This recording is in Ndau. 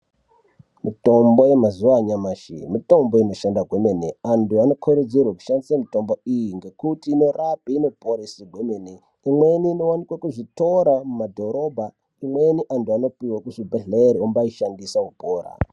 Mitombo yemazuwa anyamashi mitombo inoshanda kwemene. Antu anokurudzirwe kushandise mitombo iyi ngekuti inorape, inoporesa kwemene. Imweni inowanikwa kuzvitoro mumadhorobha. Imweni antu anoipiwe kuzvibhedhlera ombaishandisa opora.